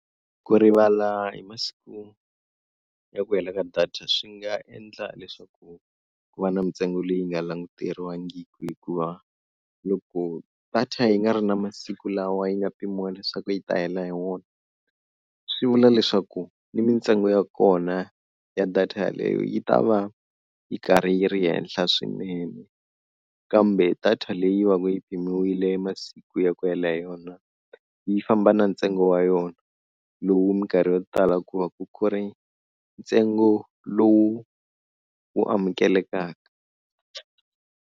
Ku rivala hi masiku ya ku hela ka data swi nga endla leswaku ku va na mintsengo leyi nga languteriwangiku, hikuva loko data yi nga ri na masiku lawa yi nga pimiwa leswaku yi ta hela hi wona, swi vula leswaku ni mintsengo ya kona ya data yeleyo yi ta va yi karhi yi ri henhla swinene. Kambe data leyi va ka yi mpimiwile masikwini ya ku hela hi yona yi famba na ntsengo wa yona lowu minkarhi yo tala ku va ku ri ntsengo lowu wu amukelekaka.